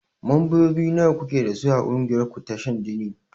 Mambobi nawa kuke dasu a ƙungiyar ku ta shan jini?